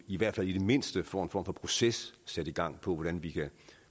i hvert fald i det mindste form for proces sat i gang for hvordan vi kan